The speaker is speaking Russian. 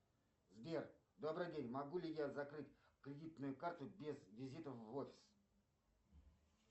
сбер добрый день могу ли я закрыть кредитную карту без визита в офис